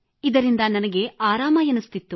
ಇದರಿಂದ ನನಗೆ ಆರಾಮವೆನಿಸುತ್ತಿತ್ತು